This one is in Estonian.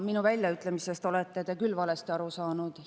Minu väljaütlemistest olete te küll valesti aru saanud.